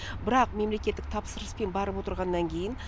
бірақ мемлекеттік тапсырыспен барып отырғаннан кейін